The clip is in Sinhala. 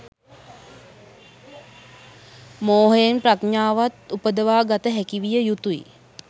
මෝහයෙන් ප්‍රඥාවත් උපදවා ගත හැකි විය යුතුයි.